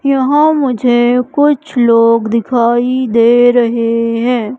यहां मुझे कुछ लोग दिखाई दे रहे हैं।